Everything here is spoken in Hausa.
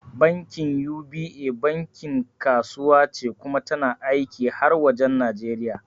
Bankin UBA bankin kasuwa ce kuma tana aiki har wajen Nijeriya